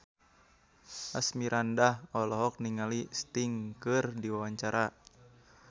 Asmirandah olohok ningali Sting keur diwawancara